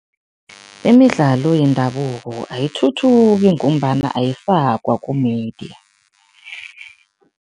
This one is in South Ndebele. Imidlalo yendabuko ayithuthuki ngombana ayifakwa ku-media.